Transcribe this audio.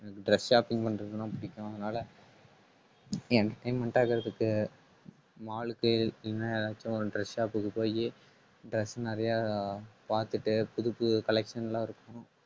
எனக்கு dress shopping பண்றதெல்லாம் பிடிக்கும். அதனால entirement ஆகுறதுக்கு mall க்கு இல்லைன்னா ஏதாச்சு ஒரு dress shop க்கு போயி dress நிறையா பார்த்துட்டு புதுப்புது collection எல்லாம் இருக்கும்